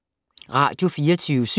Radio24syv